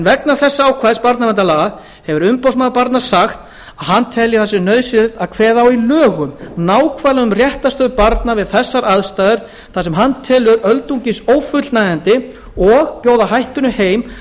vegna þessa ákvæðis barnaverndarlaga hefur umboðsmaður barna sagt að hann telji að nauðsynlegt sé að kveða í lögum nákvæmlega á um réttarstöðu barna við þessar aðstæður þar sem hann telur öldungis ófullnægjandi og bjóða hættunni heim